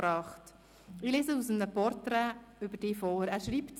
Ich lese aus einem Porträt über dich vor.